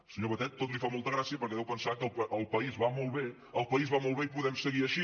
al senyor batet tot li fa molta gràcia perquè deu pensar que el país va molt bé el país va molt bé i podem seguir així